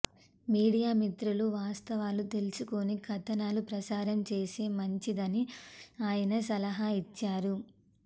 media మిత్రులు వాస్తవాలు తెలుసుకుని కథనాలు ప్రసారం చేస్తే మంచిదని ఆయన సలహా ఇచ్చారు